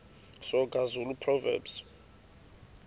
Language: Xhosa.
soga zulu proverbs